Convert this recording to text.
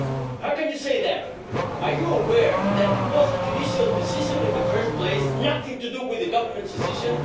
How can you say that? Are you aware that it was a judicial decision in the first place and nothing to do with the Government's decision?